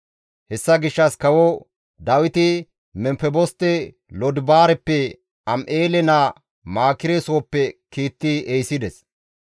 Hessa gishshas kawo Dawiti Memfeboste Lodibaareppe Am7eele naa Maakire sooppe kiitti ehisides.